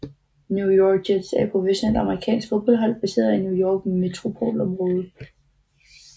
New York Jets er et professionelt amerikansk fodboldhold baseret i New Yorks metropolområde